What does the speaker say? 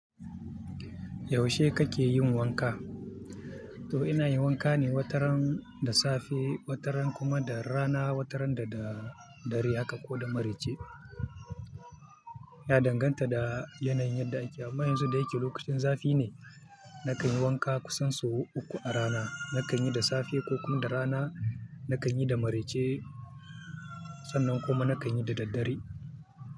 Yaushe kake yin wanka? To ina yin wanka ne wataran da safe, wataran kuma da rana, wataran da da dare haka ko da maraice. Ya danganta da yanayin da ake. Amma yanzu da yake lokacin zafi ne, na kan yi wanka kusan sau uku a rana. Na kan yi da safe ko kuma da rana, na kan yi da maraice sannan kuma na kan yi da daddare.